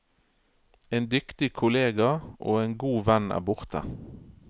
En dyktig kollega og en god venn er borte.